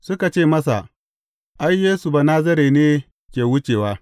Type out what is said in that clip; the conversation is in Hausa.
Suka ce masa, Ai, Yesu Banazare ne ke wucewa.